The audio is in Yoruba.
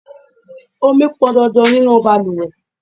Ọmi pọn dandan nínú bàlùwẹ̀.